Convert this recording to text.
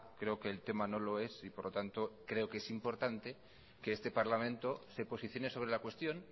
creo que el tema no lo es y por lo tanto creo que es importante que este parlamento se posicione sobre la cuestión